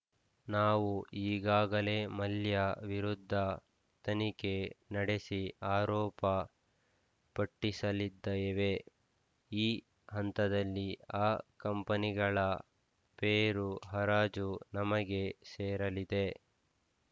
ನಾವು ಈಗಾಗಲೇ ಮಲ್ಯ ವಿರುದ್ಧ ತನಿಖೆ ನಡೆಸಿ ಆರೋಪ ಪಟ್ಟಿಸಲ್ಲಿದ್ದೇವೆ ಈ ಹಂತದಲ್ಲಿ ಆ ಕಂಪನಿಗಳ ಷೇರು ಹರಾಜು ನಮಗೆ ಸೇರಲಿದೆ